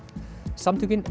samtökin